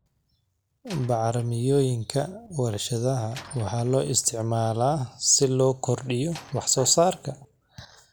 Bacrimiyooyinka warshadaha waxaa loo isticmaalaa si loo kordhiyo waxsoosaarka.